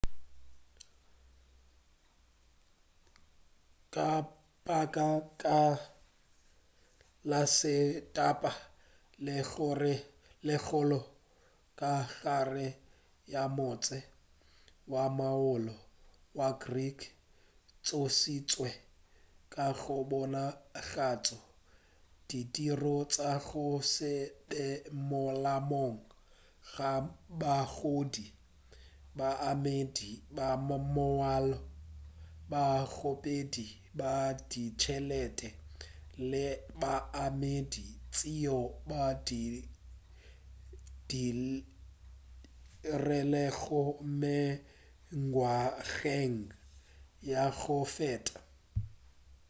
ka baka la se taba ye kgolo ka gare ga motse wa molao wa greek e tsošitšwe ka go bonagatša ditiro tša go se be molaong ga baahlodi baemedi ba molao bakgopedi ba ditšhelete le baemedi tšeo ba di dirilego mengwageng ya go feta